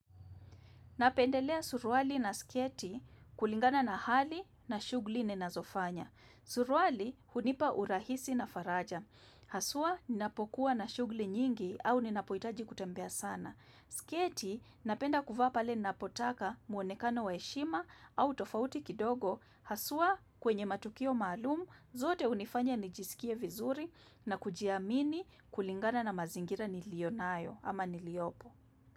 Napendelea suruali na sketi kulingana na hali na shughuli ninazofanya. Suruali, hunipa urahisi na faraja. Haswa, ninapokuwa na shughuli nyingi au ninapohitaji kutembea sana. Sketi, napenda kuvaa pale ninapotaka muonekano waheshima au tofauti kidogo. Haswa, kwenye matukio maalum, zote unifanya nijisikie vizuri na kujiamini kulingana na mazingira niliyonayo ama niliyopo.